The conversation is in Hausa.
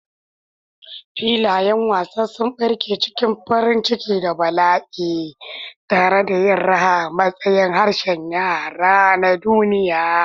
Filayen wasa sun barke cikin farin ciki da bala'i, tare da yin raha a matsayin harshen yara na duniya.